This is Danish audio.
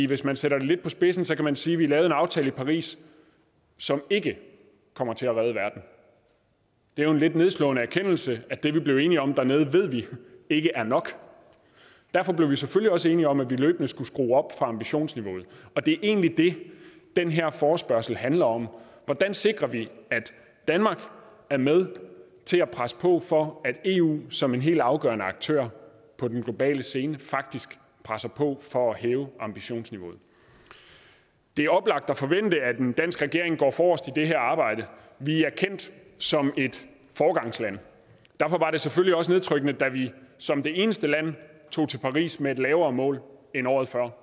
hvis man sætter det lidt på spidsen kan man sige at vi lavede en aftale i paris som ikke kommer til at redde verden det er jo en lidt nedslående erkendelse at det vi blev enige om dernede ved vi ikke er nok derfor blev vi selvfølgelig også enige om at vi løbende skulle skrue op for ambitionsniveauet og det er egentlig det den her forespørgsel handler om hvordan sikrer vi at danmark er med til at presse på for at eu som en helt afgørende aktør på den globale scene faktisk presser på for at hæve ambitionsniveauet det er oplagt at forvente at en dansk regering går forrest i det her arbejde vi er kendt som et foregangsland derfor var det selvfølgelig også nedtrykkende da vi som det eneste land tog til paris med et lavere mål end året før